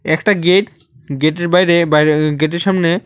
একটা gate gate -এর বাইরে বাইরে গেট -এর সামনে--